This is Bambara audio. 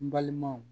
N balimaw